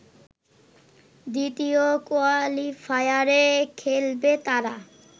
দ্বিতীয় কোয়ালিফায়ারে খেলবে তারা